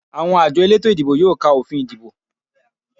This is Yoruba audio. Àwọn àjọ elétò ìdìbò yóò ka òfin ìdìbò